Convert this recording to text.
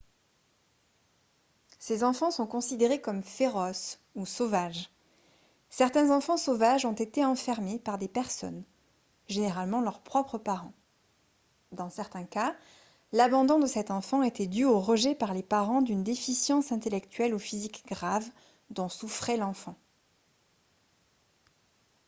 ces enfants sont considérés comme « féroces » ou sauvages. certains enfants sauvages ont été enfermés par des personnes généralement leurs propres parents ; dans certains cas l'abandon de cet enfant était dû au rejet par les parents d'une déficience intellectuelle ou physique grave dont souffrait l'enfant